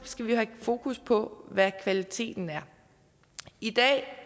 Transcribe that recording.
skal vi have fokus på hvad kvaliteten er i dag